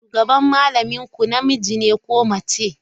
Shugaban malamin ku namiji ne ko mace?